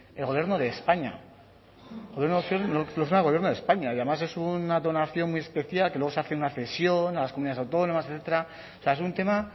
el gobierno de españa y además es una donación muy especial que luego se hace una cesión a las comunidades autónomas etcétera es un tema